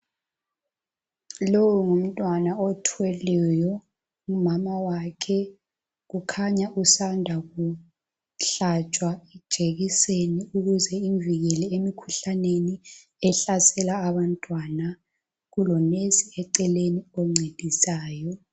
Lo ngumntwana othwelweyo ngumama wakhe kukhanya usanda ukuhlatshwa ijekiseni ukuze imvikele emkhuhlaneni ehlasela abantwana kulonesi eceleni oncedisayo